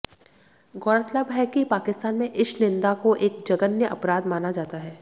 गौरतलब है कि पाकिस्तान में ईशनिंदा को एक जघन्य अपराध माना जाता है